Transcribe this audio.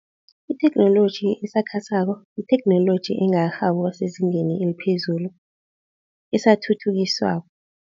Itheknoloji esakhasako yitheknoloji engakarhabi ukuba sezingeni eliphezulu, esathuthukiswako.